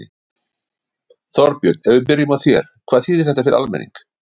Þorbjörn, ef við byrjum á þér, hvað þýðir þetta fyrir almenning?